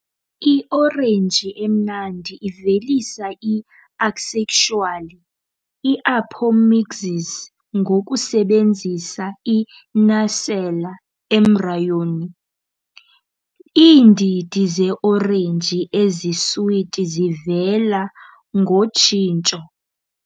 I-orange emnandi ivelisa i-asexually, i-apomixis ngokusebenzisa i-nucellar embryony, Iindidi ze-orenji eziswiti zivela ngotshintsho.